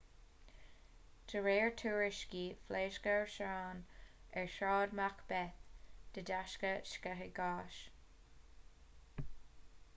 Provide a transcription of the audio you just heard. de réir tuairiscí phléasc árasán ar shráid macbeth de dheasca sceitheadh gáis